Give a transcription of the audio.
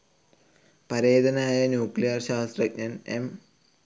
പരേതനായ ന്യൂക്ലിയർ ശാസ്ത്രജ്ഞൻ എം.